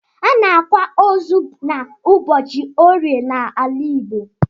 Anaakwa osu na ụbọchi orie na ala igbo.